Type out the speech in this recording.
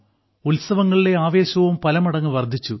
ഉത്സവങ്ങളിലെ ആവേശവും പലമടങ്ങ് വർദ്ധിച്ചു